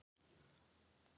Einar: Hvað var hún stór?